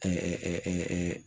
Kɔmi